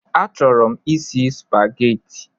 A chọrọ m isi Spageti